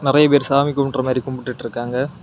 நெறைய பேரு சாமி கும்புட்ற மாதிரி கும்புட்டுட்டு இருக்காங்க.